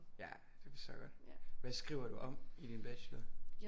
Ja det forstår jeg godt hvad skriver du om i din bachelor